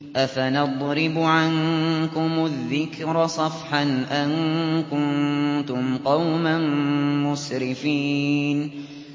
أَفَنَضْرِبُ عَنكُمُ الذِّكْرَ صَفْحًا أَن كُنتُمْ قَوْمًا مُّسْرِفِينَ